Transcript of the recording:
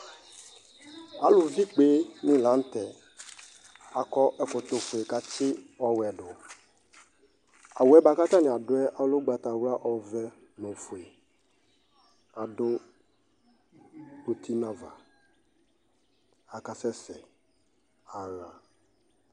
Alʋvɩ ikpenɩ la nʋ tɛ Akɔ ɛkɔtɔfue kʋ atsɩ ɔwɛ dʋ Awʋ yɛ bʋa kʋ atanɩ adʋ yɛ lɛ ʋgbatawla, ɔvɛ nʋ ofue, adʋ uti nʋ ava Akasɛsɛ aɣa